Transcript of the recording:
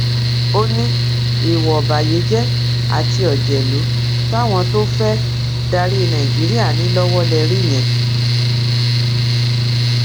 ó ní ìwà ọbàyéjẹ àti òjèlú táwọn tó fẹẹ darí nàìjíríà ní lọwọ lè rí yẹn